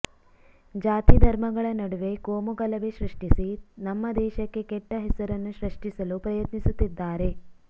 ಜಾತಿ ಧರ್ಮಗಳ ನಡುವೆ ಕೋಮು ಗಲಭೆ ಸೃಷ್ಟಿಸಿ ನಮ್ಮ ದೇಶಕ್ಕೆ ಕೆಟ್ಟ ಹೆಸರನ್ನು ಸೃಷ್ಟಿಸಲು ಪ್ರಯತ್ನಿಸುತ್ತಿದ್ದಾರೆ